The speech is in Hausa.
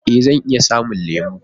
Ee! Zan iya samun lemo